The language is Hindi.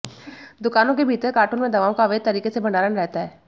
दुकानों के भीतर कार्टून में दवाओं का अवैध तरीके से भंडारण रहता है